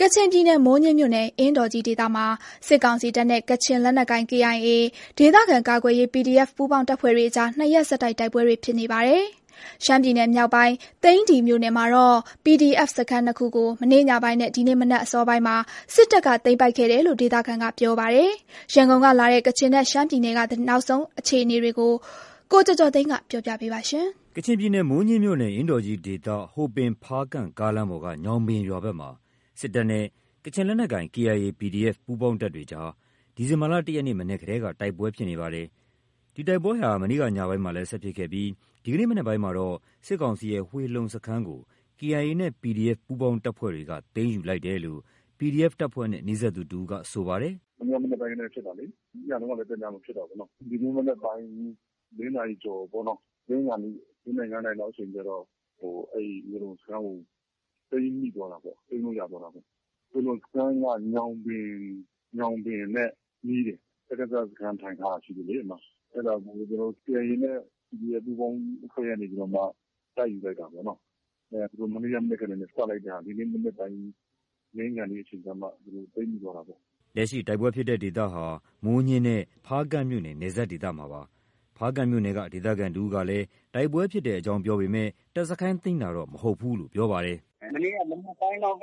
ကချင်ပြည်နယ် မိုးညှင်းမြို့နယ်၊ အင်းတော်ကြီးဒေသမှာ စစ်ကောင်စီတပ်နဲ့ ကချင် လက်နက်ကိုင် KIA၊ ဒေသခံကာကွယ်ရေး PDF ပူးပေါင်းတပ်ဖွဲ့တွေအကြား နှစ်ရက် ဆက်တိုက် တိုက်ပွဲတွေ ဖြစ်နေပါတယ်။ ရှမ်းပြည်နယ်မြောက်ပိုင်း သိန္နီမြို့နယ် မှာတာ့PDF စခန်းနှစ်ခုကို မနေ့ညပိုင်းနဲ့ ဒီနေ့ မနက်အစောပိုင်းမှာ စစ်တပ်က သိမ်းပိုက်ခဲ့တယ်လို့ ဒေသခံကပြောပါတယ်။ ရန်ကုန်ကလာတဲ့ ကချင်နဲ့ ရှမ်းပြည် နယ်က နောက်ဆုံးအခြေအနေတွေကို ကိုကျော်ကျော်ကျော်သိန်းက တင်ပြပေးထားပါတယ်။ ကချင်ပြည်နယ်၊ မိုးညှင်းမြို့နယ်၊ အင်းတော်ကြီးဒေသ ဟိုပင်-ဖားကန့် ကားလမ်းပေါ်က ညောင်ပင်ရွာဘက်မှာ စစ်တပ်နဲ့ ကချင်လက်နက်ကိုင် KIA ၊ PDF ပူးပေါင်းတပ်တွေကြား ဒီဇင်ဘာလ ၁ ရက်နေ့ မနက်ကတည်းက တိုက်ပွဲဖြစ်နေပါတယ်။ ဒီ တိုက်ပွဲဟာ မနေ့ ညပိုင်းမှာလည်း ဆက်ဖြစ်ခဲ့ပြီး ဒီနေ့မနက်ပိုင်းမှာတော့ စစ်ကောင်စီရဲ့ ဝှေလုံစခန်းကို KIA နဲ့ PDF ပူးပေါင်းတပ်ဖွဲ့တွေက သိမ်းယူလိုက်တယ်လို့ PDF တပ်ဖွဲ့နဲ့ နီးစပ်သူတဦးက ပြောပါတယ်။ “ဝှေလုံစခန်း၊ မနေ့က မနက်ကတည်းက ဖြစ်တာလေ။ ညတုန်းကလည်း တည လုံး ဖြစ်တာပေါ့နော။ ဒီနေ့မနက်ပိုင်း ၄ နာရီကျော်ပေါ့။ လင်းခါနီး ၄ နာရီ၊ ၅ နာရီ လောက်အချိန်ကျတော့ အဲဒီ ဝှေလုံစခန်းကို သိမ်းမိသွားတာပေါ့။ သိမ်းလို့ ရသွားတာပေါ့။ ဝှေလုံစခန်းက ညောင်ပင်နဲ့ နီးတယ်။ စကစ စခန်းထိုင်ထားတာလေ အဲဒီမှာ။ အဲဒါကို KIA နဲ့ PDF ပူးပေါင်းအဖွဲ့ကနေပြီးတော့မှ တိုက်ယူလိုက် တာပေါ့နော။ သူတို့ မနေ့က မနက်ကတည်းက စလိုက်တဲ့ဟာ ဒီနေ့မနက်ပိုင်း လင်းခါနီးအချိန်ကျမှ သိမ်းမိသွားတာပေါ့။” လက်ရှိ တိုက်ပွဲဖြစ်တဲ့ဒေသဟာ မိုးညှင်းနဲ့ ဖားကန့်မြို့နယ် နယ်စပ်ဒေသမှာဖြစ်ပါတယ်။ ဖားကန့်မြို့နယ်က ဒေသခံတဦးကလည်း တိုက်ပွဲဖြစ်တဲ့အကြောင်းပြောပေမဲ့ တပ်စခန်းသိမ်းတာကိုတော့ မဟုတ်ဘူးလို့ပြောပါတယ်။ “မနေ့က မနက်ပိုင်းကနေစပြီးတော့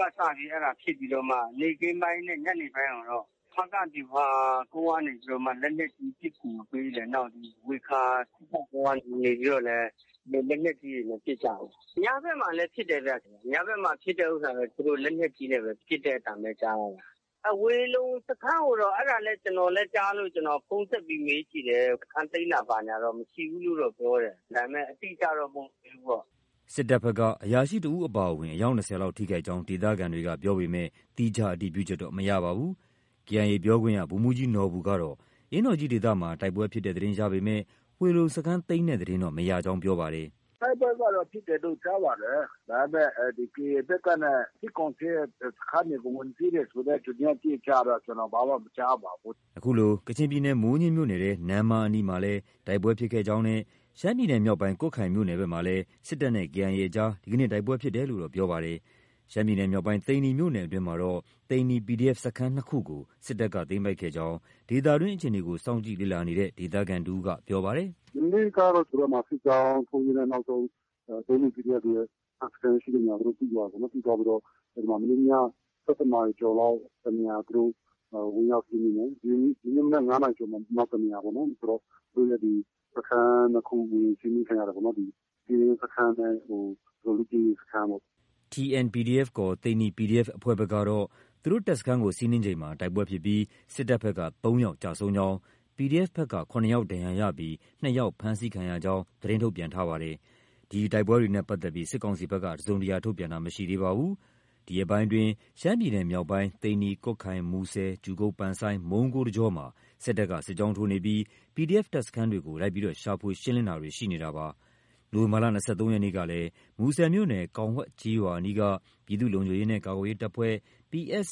ဖြစ်ပြီးမှ နေ့ခင်းပိုင်းနဲ့ ညနေပိုင်းကိုတော့ ဖားကန့် ဗျူဟာကုန်းကနေ လက်နက်ကြီး ပစ်ကူပေးတယ်။ နောက်ဒီ ဝှေခါ စစ်တပ်ကုန်းကနေပြီးတော့လည်း လက်နက်ကြီးတွေနဲ့ ပစ်ကြတယ်။ ညဘက်မှာလည်း ပစ် တယ်ဗျ။ ညဘက်မှာ ဖြစ်တဲ့ဟာတော့ သူတို့ လက်နက်ကြီးနဲ့ ပစ်တဲ့အသံပဲ ကြားတာ။ ဝှေလုံစခန်းကိုတော့ အဲဒါလည်း ကျနော်လည်း ကြားလို့ ဖုန်းဆက်ပြီး မေးကြည့်တယ်။ စခန်းသိမ်းတာ ဘာညာတော့ မရှိဘူးလို့တော့ ပြောတယ်။ ဒါပေမဲ့ အတိအကျတော့ မဟုတ်သေးဘူးပေါ့။” စစ်တပ်ဘက်က အရာရှိတဦးအပါအဝင် အယောက် ၂၀ လောက် ထိခိုက်ကြောင်း ဒေသခံတွေက ပြောပေမဲ့ သီးခြားအတည်ပြုချက်တော့ မရပါဘူး။ KIA ပြောခွင့်ရ ဗိုလ်မှူးကြီးနော်ဘူကတော့ အင်းတော်ကြီးဒေသမှာ တိုက်ပွဲဖြစ်တဲ့သတင်းရပေမဲ့ ဝှေလုံစခန်းသိမ်းတဲ့သတင်းတော့ မရကြောင်း ပြောပါတယ်။ “တိုက်ပွဲကတော့ ဖြစ်တယ်လို့ ကြားပါတယ်။ ဒါပေမဲ့ ဒီ KIA ဘက်ကနဲ့ စစ်ကောင်စီရဲ့ စခန်းတွေကို ဝင်သိမ်းတယ်ဆိုတဲ့ သတင်းအတိအကျတော့ ကျနော် ဘာမှမကြားပါဘူး။ ” ခုလို ကချင်ပြည်နယ် မိုးညှင်းမြို့နယ်ထဲ နမ္မားအနီးမှာလည်း တိုက်ပွဲဖြစ်ခဲ့ကြောင်းနဲ့ရှမ်းပြည်နယ်မြောက်ပိုင်း ကွတ်ခိုင်မြို့နယ်ဘက်မှာလည်း စစ်တပ်နဲ့ KIA အကြား ဒီနေ့ တိုက်ပွဲဖြစ်တယ်လို့တော့ ပြောပါတယ်။ ရှမ်းပြည်နယ်မြောက်ပိုင်း သိန္နီမြို့နယ်အတွင်းမှာတော့ သိန္နီ PDF စခန်း နှစ်ခုကို စစ်တပ်က သိမ်းပိုက်ခဲ့ကြောင်း ဒေသတွင်းအခြေအနေကို စောင့်ကြည့်လေ့လာနေတဲ့ ဒေသခံတဦးက ပြောပါတယ်။ “မနေ့ကတော့ သူတို့ စစ်ကြောင်းထိုးရင်းနဲ့ နောက်ဆုံး သူတို့ သိန္နီ PDF တွေရဲ့ တပ်စခန်းရှိတဲ့နေရာကို သိသွားတာပေါ့နော်။ သိသွားပြီးတော့ မနေ့ည ၁၁ နာရီကျော်လောက်မှာ တနေရာ သူတို့ ဝင်ရောက်စီးနင်းတယ်။ ဒီနေ့မနက် ၅ နာရီကျော်မှာ နောက်တနေရာပေါ့။ ဆိုတော့ စခန်းနှစ်ခု စီးနင်းခံရတယ်ပေါ့။ ကင်းစခန်းနဲ့ လေ့ကျင့်ရေးစခန်းပေါ့။” TN- PDF ခေါ် သိန္နီ PDF အဖွဲ့ဘက်ကတော့ သူတို့တပ်စခန်း စီးနင်းချိန်မှာ တိုက် ပွဲဖြစ်ပြီး စစ်ကောင်စီဘက်က သုံးယောက်ကျဆုံးကြောင်း၊ PDF ဘက်က ၇ ယောက် ဒဏ်ရာရပြီး နှစ်ယာက် ဖမ်းဆီးခံရကြောင်း သတင်းထုတ်ပြန်ထားပါတယ်။ ဒီတိုက်ပွဲတွေနဲ့ပတ်သက်လို့ စစ်ကောင်စီဘက်က တစုံတရာ ထုတ်ပြန်ခြင်း မရှိသေးပါဘူး။ ဒီရက်ပိုင်းအတွင်းရှမ်းပြည်နယ်မြောက်ပိုင်း သိန္နီ၊ ကွတ်ခိုင်၊ မူဆယ်၊ ကြူကုတ် မုံးကိုး တကြောမှာ စစ်တပ်က စစ်ကြောင်းထိုးနေပြီး PDF တပ်စခန်းတွေကို လိုက်လံရှာဖွေ ရှင်းလင်းတာတွေ ရှိနေတာပါ။ နိုဝင်ဘာလ ၂၃ရက်နေ့ကလည်း မူဆယ်မြို့နယ် ကောင်ဝှဲက်ကျေးရွာအနီးက ပြည်သူ့ လုံခြုံရေးနှင့် ကာကွယ်ရေး တပ်ဖွဲ့ ရဲ့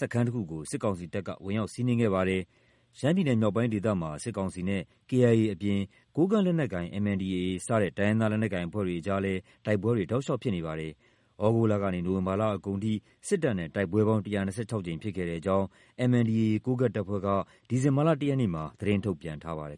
စခန်းတစ်ခုကို စစ်ကောင်စီတပ်က ဝင်ရောက်စီးနင်းခဲ့ပါတယ်။ ရှမ်းပြည်နယ်မြောက်ပိုင်းဒေသမှာ စစ်ကောင်စီတပ်နဲ့ KIA အပြင် ကိုကန့် လက်နက်ကိုင် MNDAA စတဲ့ တိုင်းရင်းသား လက်နက်ကိုင်အဖွဲ့တွေအကြားလည်း တိုက်ပွဲတွေ တောက်လျှောက်ဖြစ်ပွားနေပါတယ်။ သြဂုတ်လကနေ နိုဝင်ဘာလအကုန်ထိ စစ်ကောင်စီတပ်နဲ့ တိုက်ပွဲပေါင်း ၁၂၆ ကြိမ်ဖြစ်ခဲ့ကြောင်း MNDAA ကိုးကန့် တပ်ဖွဲ့က ဒီဇင်ဘာလ ၁ ရက်နေ့က သတင်းထုတ်ပြန်ထားပါတယ်